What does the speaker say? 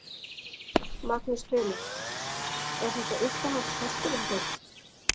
Magnús Hlynur: Er þetta uppáhalds hesturinn þinn?